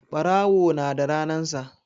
Ɓarawo na da ranan sa